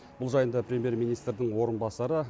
бұл жайында премьер министрдің орынбасары